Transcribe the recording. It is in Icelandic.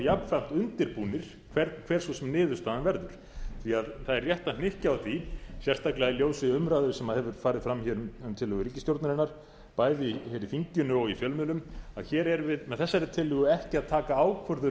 jafnframt undirbúnir hver svo sem niðurstaðan verður það er rétt að hnykkja á því sérstaklega í ljósi umræðu sem hefur farið fram hér um tillögu ríkisstjórnarinnar bæði hér í þinginu og í fjölmiðlum að hér erum við með þessari tillögu ekki að taka ákvörðun